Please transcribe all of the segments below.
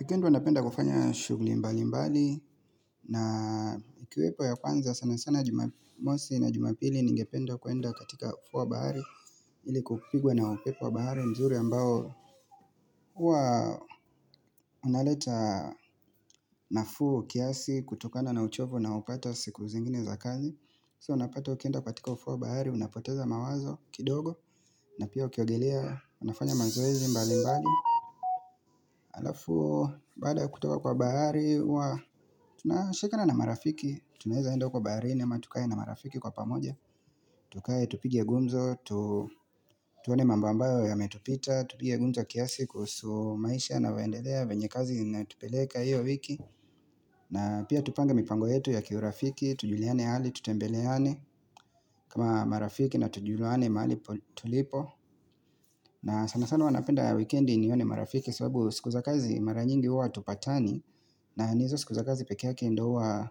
Wikendi huwa napenda kufanya shughli mbali mbali na ikiwepo ya kwanza sana sana jumamosi na jumapili ningependa kwenda katika ufuo wa bahari ili kupigwa na upepo wa bahari mzuri ambao huwa unaleta nafuu kiasi kutokana na uchovo naopata siku zingine za kazi. So unapata ukienda katika ufuo wa bahari, unapoteza mawazo kidogo na pia ukiogelea, unafanya mazoezi mbali mbali Alafu, baada ya kutoka kwa bahari, huwa tunashikana na marafiki Tunaeza enda huko baharini ama tukae na marafiki kwa pamoja Tukae, tupige gumzo, tuone mambo ambayo yametupita tupige gumzo kiasi kuhusu maisha yavyoendelea venye kazi zinatupeleka hiyo wiki na pia tupange mipango yetu ya kiurafiki, tujuliane hali, tutembeleane kama marafiki na tujulwane mahali tulipo na sana sana huwa napenda wikendi nione marafiki sababu siku za kazi mara nyingi uwa hatupatani na ni hizo siku za kazi peke yake ndo uwa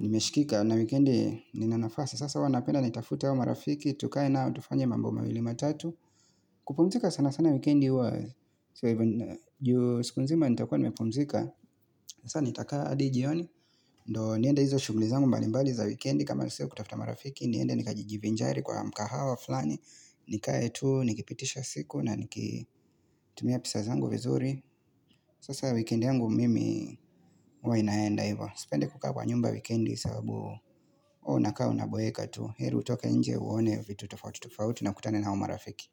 nimeshikika na wikendi ninanafasi Sasa huwa napenda nitafute wa marafiki Tukae nao tufanye mambo mawili matatu kupumzika sana sana wikendi uwa ju siku mzima nitakua nimepumzika Sasa nitakaa adi jioni ndo niende hizo shughli zangu mbalimbali za wikendi kama nisio kutafta marafiki niende nikajijivinjari kwa mkahawa fulani. Nikae tuu, nikipitisha siku na nikitumia pesa zangu vizuri. Sasa wikendi yangu mimi uwa inaenda ivo. Sipendi kukaa kwa nyumba wikendi sababu hua unakaa unaboeka tuu. Heri utoke nje uone vitu tufauti tufauti na kutane na umarafiki.